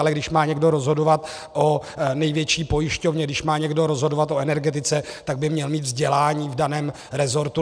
Ale když má někdo rozhodovat o největší pojišťovně, když má někdo rozhodovat o energetice, tak by měl mít vzdělání v daném rezortu.